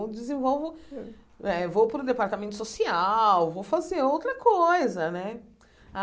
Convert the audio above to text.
Eu desenvolvo, eh vou para o departamento social, vou fazer outra coisa, né?